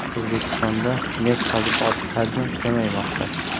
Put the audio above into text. O‘zbekistonda neft qazib olish hajmi kamaymoqda.